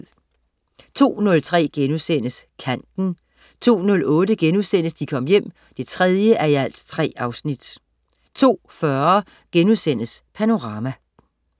02.03 Kanten* 02.08 De Kom Hjem 3:3* 02.40 Panorama*